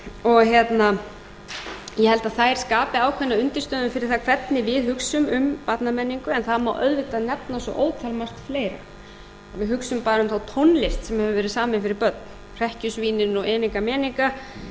ég held að það skapi skapi ákveðna undirstöðu fyrir það hvernig við hugsum um barnamenningu en það má auðvitað nefna svo ótalmargt fleira við hugsum bara um þá tónlist sem hefur verið samin fyrir börn hrekkjusvínin og eniga eniga barnaefnið